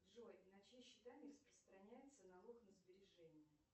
джой на чьи счета не распространяется налог на сбережения